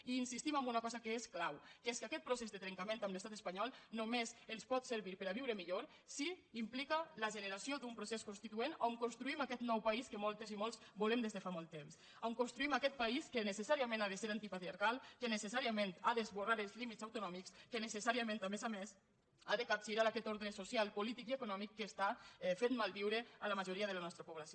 i insistim en una cosa que és clau que és que aquest procés de trencament amb l’estat espanyol només ens pot servir per a viure millor si implica la generació d’un procés constituent on construïm aquest nou país que moltes i molts volem des de fa molt temps on construïm aquest país que necessàriament ha de ser antipatriarcal que necessàriament ha d’esborrar els límits autonòmics que necessàriament a més a més ha de capgirar aquest ordre social polític i econòmic que està fent malviure la majoria de la nostra població